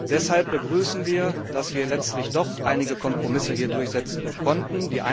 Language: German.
Deshalb begrüßen wir, dass wir letztlich doch einige Kompromisse durchsetzen konnten.